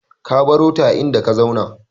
Ka barota a inda ka zauna.